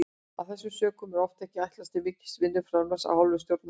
Af þessum sökum er oft ekki ætlast til mikils vinnuframlags af hálfu stjórnarmanna.